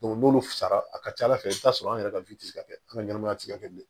n'olu fara a ka ca ala fɛ i bɛ t'a sɔrɔ an yɛrɛ ka tɛ se ka kɛ an ka ɲɛnamaya tɛ se ka kɛ bi